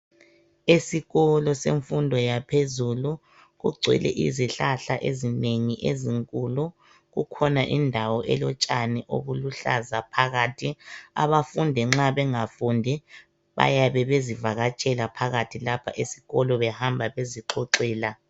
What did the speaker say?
Esikolo zemfundo yaphezulu kugcwele izihlahla ezinengi ezinkulu kukhona indawo elotshani obuluhlaza phakathi abafundi nxa bengafundi bayabe bezivakatshela phakathi lapha esikolo behamba bezixoxela.